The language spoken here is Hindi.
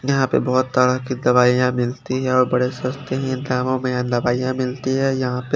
यहाँ पे बहत तरह के दवाइया मिलती है और बड़े सस्ते है दामों में एन दवाइया मिलती है यहाँ पे।